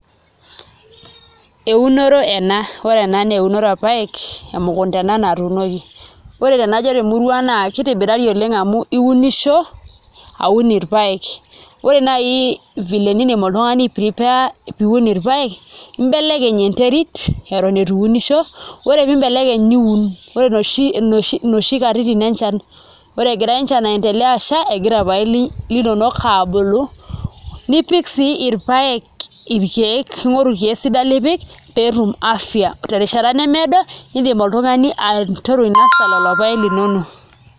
Eunore ena ore ena naa enore orpaek emukunda ena natuunoki ore tenajo temurua ang' naa kitobirari oleng' amu iunisho aun irpaek, ore naai vile niidim oltung'ani ai prepare piiun irpaek imbelekeny enterit eton itu iunisho ore pee imbelekeny niun kake inoshi katitin enchan ore egira enchan aiendelea asha egira irpaek linonok aabulu nipik sii irpaek irkeek, ing'oru irkeek sidan lipik pee etum afya terishata nemeedo iindim oltung'ani ainasa lelo paek linonok.